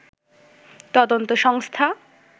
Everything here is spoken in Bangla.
তদন্ত সংস্থা